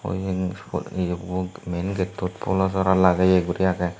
yen yabo main gato polosora lageye guri agey.